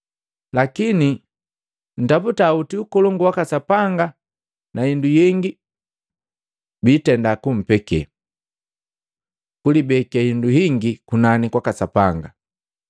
Lakini ntaputa oti Ukolongu waka Sapanga na hindu yengi biitenda kumpeke. Kulibeke indu hingi kunani kwaka Sapanga Matei 6:19-21